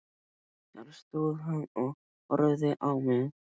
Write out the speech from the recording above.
Þar stóð hann og horfði á mig.